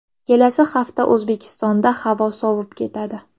Kelasi hafta O‘zbekistonda havo sovib ketadi .